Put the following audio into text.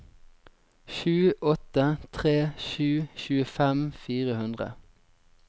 sju åtte tre sju tjuefem fire hundre